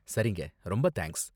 சரிங்க! ரொம்ப தேங்க்ஸ்.